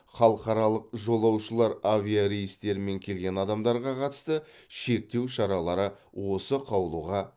халықаралық жолаушылар авиарейстерімен келген адамдарға қатысты шектеу шаралары осы қаулыға